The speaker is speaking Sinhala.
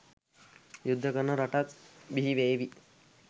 යුද්ධ කරන රටක් බිහිවේවි.